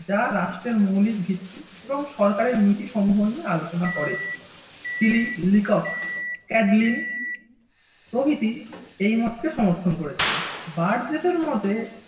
যা রাষ্ট্রের মৌলিক ভিত্তি এবং সরকারের নীতি সমূহ নিয়ে আলোচনা করে। ছিলি লিকক চেকলিন প্রভৃতি এই মতকে সমর্থন করেছেন বার্জেস এর মতে